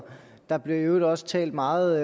der blev i øvrigt også talt meget